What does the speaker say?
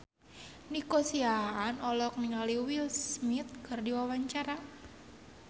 Nico Siahaan olohok ningali Will Smith keur diwawancara